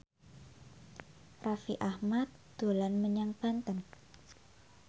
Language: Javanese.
Raffi Ahmad dolan menyang Banten